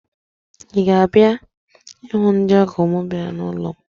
Ị ga-abịa ịhụ ndị ọ́gọ̀ m bịara n'ụlọ m?